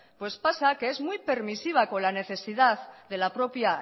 pues pasa que es muy permisiva con la necesidad de la propia